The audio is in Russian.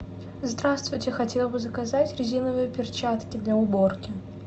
здравствуйте хотела бы заказать резиновые перчатки для уборки